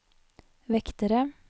vektere